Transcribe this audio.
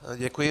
Děkuji.